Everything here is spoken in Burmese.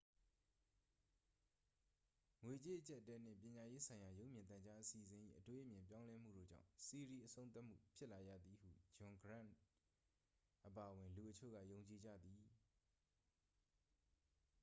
ငွေကြေးအကျပ်အတည်းနှင့် ပညာရေးဆိုင်ရာ ရုပ်မြင်သံကြား အစီအစဉ်၏ အတွေးအမြင် ပြောင်းလဲမှုတို့ကြောင့် စီးရီး အဆုံးသတ်မှုဖြစ်လာရသည်ဟု ဂျွန်ဂရန့်အပါအဝင် လူအချို့က ယုံကြည်ကြသည်